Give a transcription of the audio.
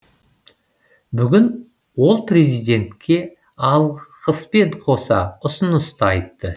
бүгін ол президентке алғыспен қоса ұсыныс да айтты